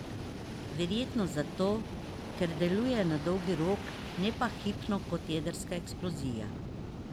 Verjetno zato, ker deluje na dolgi rok, ne pa hipno kot jedrska eksplozija.